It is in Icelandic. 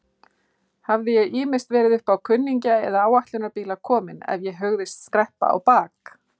Hafði ég ýmist verið uppá kunningja eða áætlunarbíla kominn ef ég hugðist skreppa á bak.